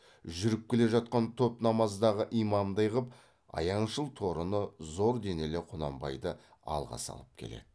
жүріп келе жатқан топ намаздағы имамдай қып аяңшыл торыны зор денелі құнанбайды алға салып келеді